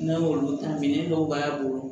N'an y'olu ta minɛn dɔw b'a bolo